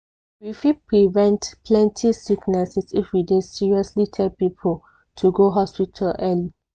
we fit prevent plenty sicknesses if we dey seriously tell people to go hospital early.